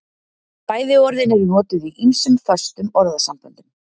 Bæði orðin eru notuð í ýmsum föstum orðasamböndum.